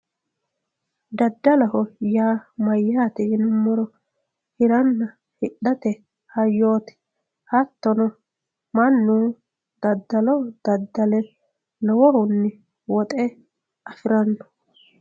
daddaloho yaa mayyaate yinummoro hiranna hidhate hayyooti hattono mannu daddalo daddale lowohunni woxe afiranno.